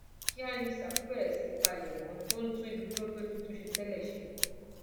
kíá ni sáfù ti bẹrẹ sí í palẹmọ tó ń tún ibi tó tó ti tún ṣe tẹlẹ ṣe